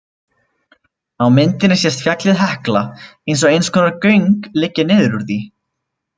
Á myndinni sést fjallið Hekla og eins konar göng liggja niður úr því.